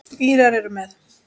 Írar eru með.